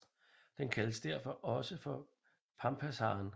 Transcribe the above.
Den kaldes derfor også for pampasharen